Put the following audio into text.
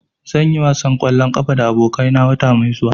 Zan yi wasan ƙwallon ƙafa da abokai na wata mai zuwa.